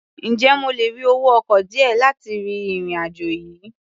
Ǹjẹ́ mo lè rí owó ọkọ̀ díẹ̀ láti ri ìrìn-àjò yìí?